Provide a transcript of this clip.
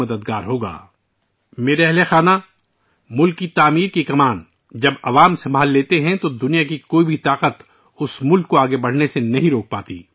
میرے پریوار جنوں ، جب عوام بڑے پیمانے پر قوم کی تعمیر کی ذمہ داری سنبھالیں گے تو دنیا کی کوئی طاقت اس ملک کو آگے بڑھنے سے نہیں روک سکتی